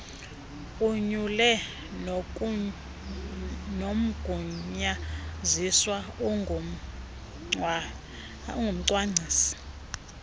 anyule nomgunyaziswa ongumcwangcisi